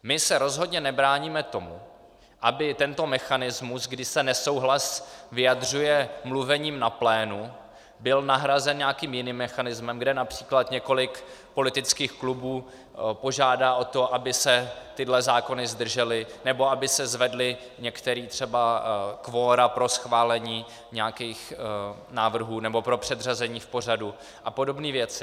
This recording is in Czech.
My se rozhodně nebráníme tomu, aby tento mechanismus, kdy se nesouhlas vyjadřuje mluvením na plénu, byl nahrazen nějakým jiným mechanismem, kde například několik politických klubů požádá o to, aby se tyhle zákony zdržely, nebo aby se zvedla některá třeba kvora pro schválení nějakých návrhů nebo pro předřazení v pořadu a podobné věci.